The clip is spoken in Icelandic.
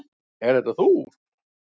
Ert þetta þú?